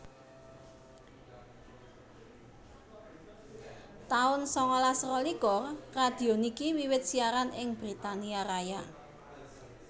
taun sangalas rolikur Radio niki wiwit siaran ing Britania Raya